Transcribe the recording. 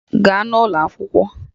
Gaa ụlọ akwụkwọ!